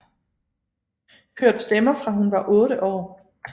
Hørt stemmer fra hun var otte år